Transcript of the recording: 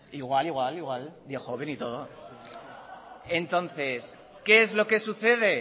igual igual igual de joven y de todo entonces qué es lo que sucede